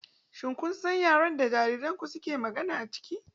Shin kun san yaren da jaririnku ke magana a ciki?